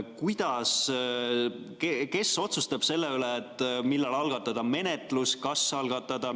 Kes otsustab selle üle, millal algatada menetlus ja kas algatada?